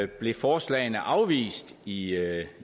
blev forslagene afvist i